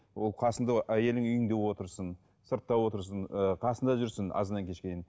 ол қасыңда әйелің үйіңде отырсын сыртта отырсын ыыы қасында жүрсін азаннан кешке дейін